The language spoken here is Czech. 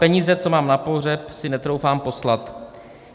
Peníze, co mám na pohřeb, si netroufám poslat.